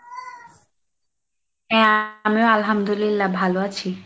হ্যাঁ, আমিও আলহামদুলিল্লাহ ভালো আছি।